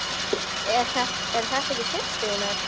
Eru þetta systur þínar?